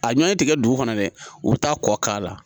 A ɲɔ tɛ dugu kɔnɔ dɛ u bɛ taa kɔ k'a la